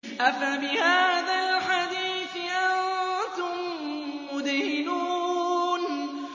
أَفَبِهَٰذَا الْحَدِيثِ أَنتُم مُّدْهِنُونَ